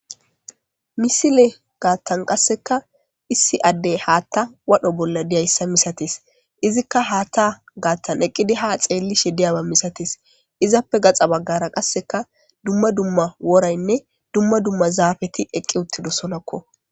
Misilegaattan gaattan qaassekka issi addey haatha wodha bolla diyayssa misatees. izikka haatha gaathaneqqidi haa xeellishe diyaaba misatees.izappe gaxa baggara qasse dumma woraynne dumma dummazaafeti eqqi uttidoosonakko.